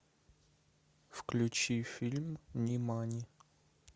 включи фильм нимани